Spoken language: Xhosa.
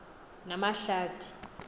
namahlathi